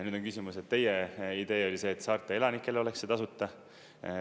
Nüüd on küsimus, et teie idee oli see, et saarte elanikele oleks see tasuta.